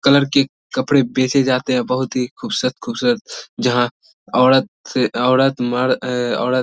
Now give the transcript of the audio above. colour की कपड़े भेजे जाते है बहुत ही खूबसूरत-खूबसूरत जहाँ औरत से औरत मर्द ए औरत --